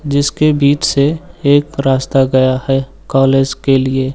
जिसके बीच से एक रास्ता गया है कॉलेज के लिए।